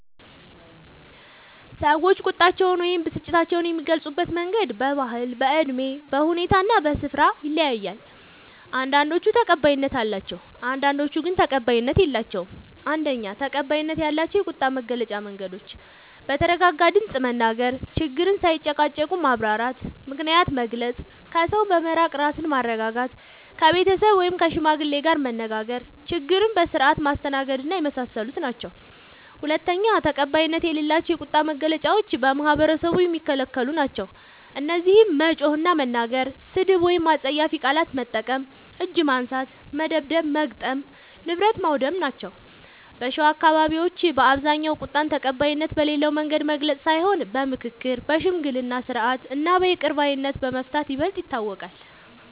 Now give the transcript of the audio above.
ሰዎች ቁጣቸውን ወይም ብስጭታቸውን የሚገልጹበት መንገድ በባህል፣ በእድሜ፣ በሁኔታ እና በስፍራ ይለያያል። አንዳንዶቹ ተቀባይነት አላቸው፣ አንዳንዶቹ ግን ተቀባይነት የላቸዉም። ፩. ተቀባይነት ያላቸው የቁጣ መግለጫ መንገዶች፦ በተረጋጋ ድምፅ መናገር፣ ችግርን ሳይጨቃጨቁ ማብራራት፣ ምክንያትን መግለጽ፣ ከሰው በመራቅ ራስን ማረጋጋት፣ ከቤተሰብ ወይም ከሽማግሌ ጋር መነጋገር፣ ችግርን በስርዓት ማስተናገድና የመሳሰሉት ናቸዉ። ፪. ተቀባይነት የሌላቸው የቁጣ መግለጫዎች በማህበረሰቡ የሚከለክሉ ናቸዉ። እነዚህም መጮህ እና መናገር፣ ስድብ ወይም አስጸያፊ ቃላት መጠቀም፣ እጅ ማንሳት (መደብደብ/መግጠም) ፣ ንብረት ማዉደም ናቸዉ። በሸዋ አካባቢዎች በአብዛኛዉ ቁጣን ተቀባይነት በሌለዉ መንገድ መግለጽ ሳይሆን በምክክር፣ በሽምግልና ስርዓት እና በይቅር ባይነት በመፍታት ይበልጥ ይታወቃል።